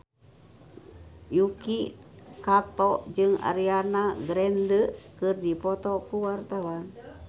Yuki Kato jeung Ariana Grande keur dipoto ku wartawan